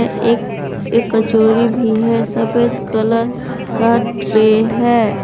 एक एक कचोरी भी है सफेद कलर का ट्रे है।